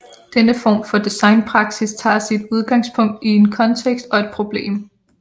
Denne form for designpraksis tager sit udgangspunkt i en kontekst og et problem